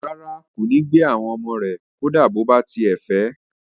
Rárá, kò ní gbà àwọn ọmọ rẹ̀ kó dá bó bá tiẹ̀ fẹ̀ ẹ